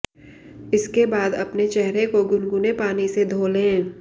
इसके बाद अपने चेहरे को गुनगुने पानी से धो लें